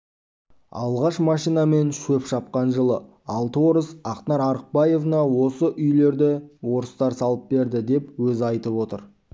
алғаш машинамен шөп шапқан жылы алты орыс ақнар артықбаевна осы үйлерді орыстар салып берді деп өзі айтып отыр